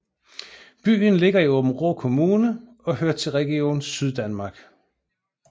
Byen ligger i Aabenraa Kommune og hører til Region Syddanmark